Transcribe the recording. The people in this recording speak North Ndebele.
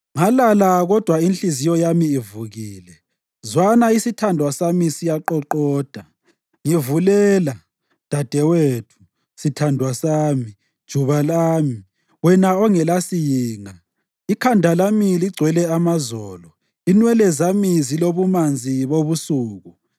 Ngalala kodwa inhliziyo yami ivukile. Zwana! Isithandwa sami siyaqoqoda: “Ngivulela, dadewethu, sithandwa sami, juba lami, wena ongelasiyinga. Ikhanda lami ligcwele amazolo, inwele zami zilobumanzi bobusuku.”